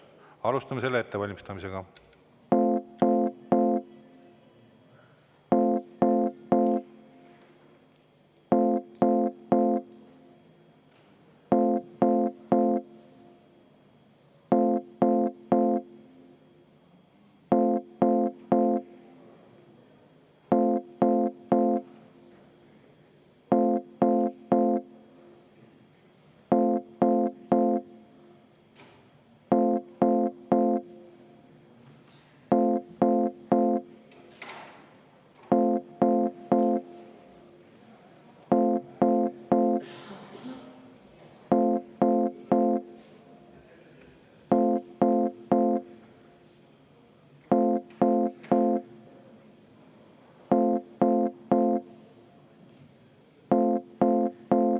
Alustame selle ettevalmistamist.